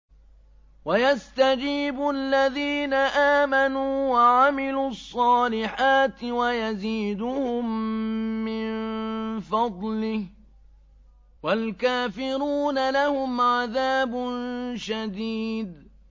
وَيَسْتَجِيبُ الَّذِينَ آمَنُوا وَعَمِلُوا الصَّالِحَاتِ وَيَزِيدُهُم مِّن فَضْلِهِ ۚ وَالْكَافِرُونَ لَهُمْ عَذَابٌ شَدِيدٌ